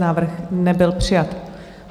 Návrh nebyl přijat.